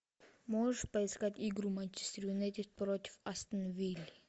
можешь поискать игру манчестер юнайтед против астон виллы